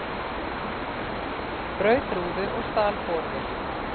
Braut rúðu og stal borvél